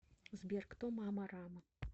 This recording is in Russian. сбер кто мама рама